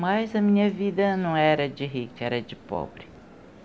Mas a minha vida não era de rica, era de pobre.